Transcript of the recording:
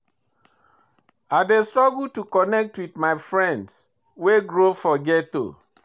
I dey struggle to connect wit my friends wey grow for ghetto.